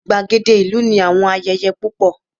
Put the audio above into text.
igbagede ìlú ni àwọn ayẹyẹ púpọ